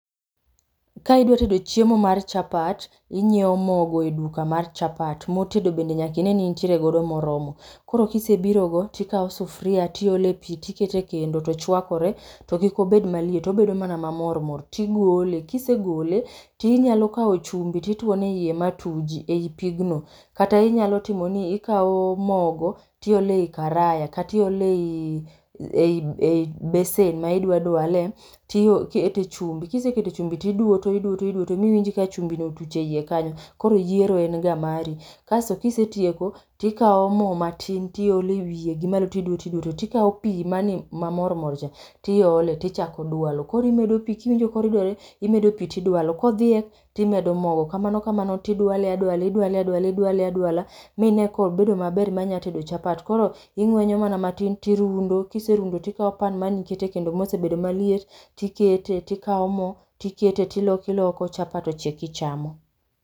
Ka idwa tedo chiemo mar chapat, inyieo mo go e duka mar chapat, mor tedo bende nyaka ine ni intiere godo moromo. Koro kisebiro go tikao sufria rtiole pi tiketo ekendo to kik obed maliet obedo mana ma mor mor, tigole kisegole tinyalo kao chumbi tituono ei matuji ei pigno, kata inyalo timo ni ikao mogo, tiolo ei karaya kata iole ei ei besen ma idwa dwale, tiol tikete e chumbi, kisekete e chumbi to iduwo toiduwo toiduwo ma iwinj ka chumbi no utuch ei kanyo, koro yiero en ga mari. Kato kisetieko, tikao mo matin tiole ewiye gi malo to iduwo tiduwo, to tikao pi mane mamor mor cha tiole, tichako dwalo. Koro imedo pi kiwinjo ka oridore, imedo pi to idwalo kodhiek timedo mogo, kamano kamano tiwale adwale idwale adwala, idwale adwala mine ka obedo maber ma nyalo tedo chapat. Koro ing'wenyo ana matin to irundo, kiserundo tikao pan man iketo e kendo ma osebedo maliet, tikete tikao mo, tikete tiloko iloko, chapat ochiek ichamo.